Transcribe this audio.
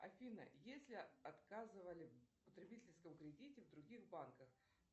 афина если отказывали в потребительском кредите в других банках